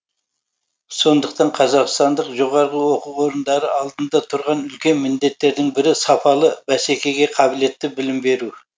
сондықтан қазақстандық жоо алдында тұрған үлкен міндеттердің бірі сапалы бәсекеге қабілетті білім беру